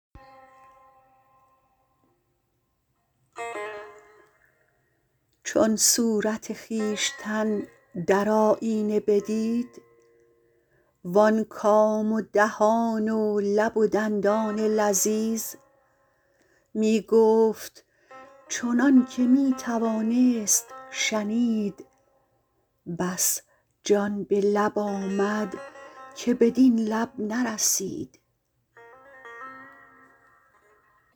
چون صورت خویشتن در آیینه بدید وان کام و دهان و لب و دندان لذیذ می گفت چنانکه می توانست شنید بس جان به لب آمد که بدین لب نرسید